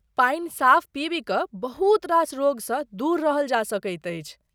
पानि साफ़ पीबि कऽ बहुत रास रोगसँ दूर रहल जा सकैत अछि।